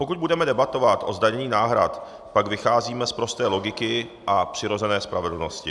Pokud budeme debatovat o zdanění náhrad, pak vycházíme z prosté logiky a přirozené spravedlnosti.